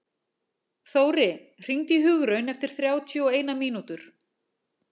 Þóri, hringdu í Hugraun eftir þrjátíu og eina mínútur.